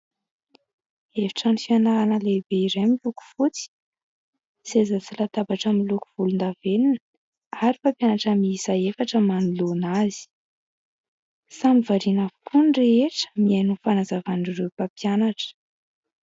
Efitrano fianarana lehibe iray miloko fotsy, seza sy latabatra miloko volondavenona ary mpampianatra miisa efatra manoloana azy. Samy variana avokoa ny rehetra mihaino ny fanazavan'ireo mpampianatra.